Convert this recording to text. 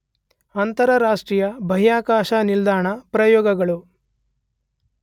ಅಂತರರಾಷ್ಟ್ರೀಯ ಬಾಹ್ಯಾಕಾಶ ನಿಲ್ದಾಣ ಪ್ರಯೋಗಗಳು